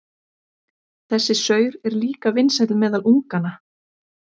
Þessi saur er líka vinsæll meðal unganna.